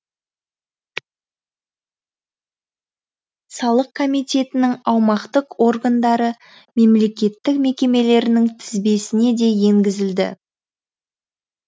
салық комитетінің аумақтық органдары мемлекеттік мекемелерінің тізбесіне де енгізілді